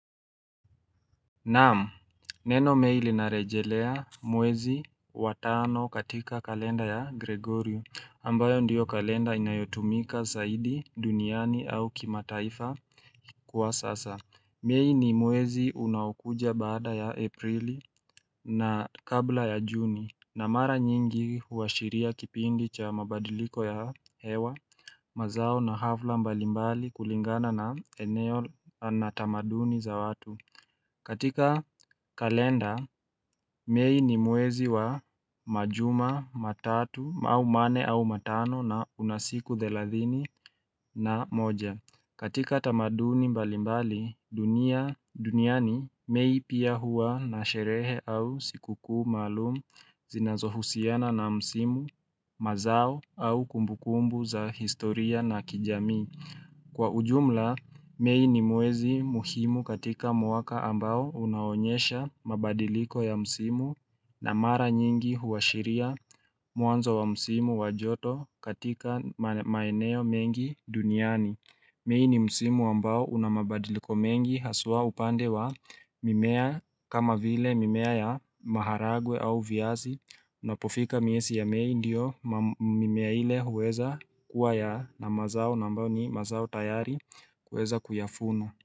Naam, neno mei linarejelea mwezi wa tano katika kalenda ya Gregorio, ambayo ndiyo kalenda inayotumika saidi duniani au kimataifa kwa sasa. Mei ni mwezi unaokuja baada ya April na kabla ya Juni, na mara nyingi huashiria kipindi cha mabadiliko ya hewa, mazao na hafla mbalimbali kulingana na eneo na tamaduni za watu. Katika kalenda, mei ni mwezi wa majuma matatu, mau manne au matano na una siku thelathini na moja. Katika tamaduni mbalimbali dunia duniani mei pia huwa na sherehe au sikukuu maalum zinazohusiana na msimu, mazao au kumbukumbu za historia na kijamii. Kwa ujumla, mei ni mwezi muhimu katika mwaka ambao unaonyesha mabadiliko ya msimu na mara nyingi huashiria mwanzo wa msimu wa joto katika maeneo mengi duniani. Mei ni msimu ambao una mabadiliko mengi haswa upande wa mimea kama vile mimea ya maharagwe au viazi Unapofika miesi ya mei ndiyo mimea ile huweza kuwa ya na mazao na ambayo ni mazao tayari kuweza kuyafuna.